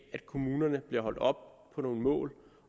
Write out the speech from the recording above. kommunerne bliver holdt op på nogle mål